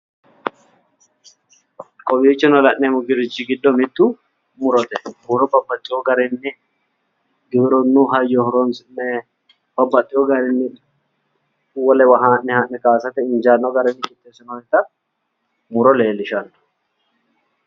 Kowiichono la'neemmorichi giddo mittu murote. muro babbaxxewo garinni giwirinnu hayyo horonsi'ne babbaxxewo garinni wolewa haa'ne haa'ne kaasate injaanno garinni qixxeessinoonnita muro leellishshanno.